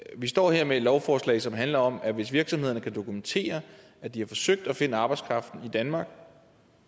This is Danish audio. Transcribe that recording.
vi står her med et lovforslag som handler om at hvis virksomhederne kan dokumentere at de har forsøgt at finde arbejdskraften i danmark